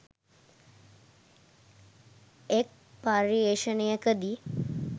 එක් පර්යේෂණයකදී,